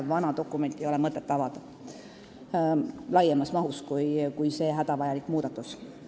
Vana dokumenti ei ole mõtet avada laiemas mahus, kui on see hädavajalik muudatus.